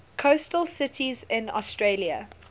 coastal cities in australia